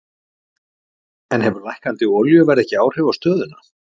En hefur lækkandi olíuverð ekki áhrif á stöðuna?